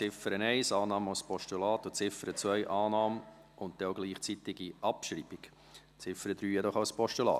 Annahme von Ziffer 1 als Postulat und Ziffer 2, Annahme und gleichzeitige Abschreibung, Ziffer 3 jedoch als Postulat.